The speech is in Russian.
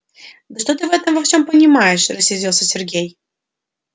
да что ты в этом во всём понимаешь рассердился сергей